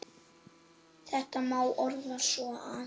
Þetta má orða svo að